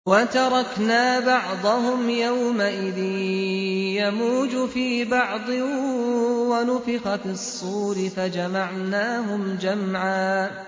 ۞ وَتَرَكْنَا بَعْضَهُمْ يَوْمَئِذٍ يَمُوجُ فِي بَعْضٍ ۖ وَنُفِخَ فِي الصُّورِ فَجَمَعْنَاهُمْ جَمْعًا